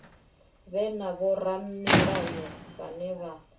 vhe na vhoramilayo vhane vha